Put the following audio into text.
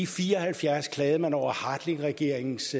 fire og halvfjerds klagede man over hartlingregeringens